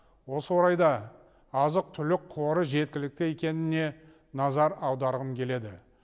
осы орайда азық түлік қоры жеткілікті екеніне назар аударғым келеді